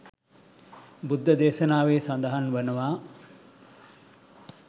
බුද්ධ දේශනාවේ සඳහන් වනවා.